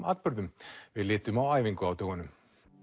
atburðum við litum á æfingu á dögunum